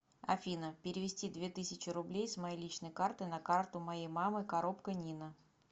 афина перевести две тысячи рублей с моей личной карты на карту моей мамы коробко нина